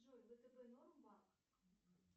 джой втб норм банк